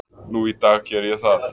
Nú í dag geri ég það.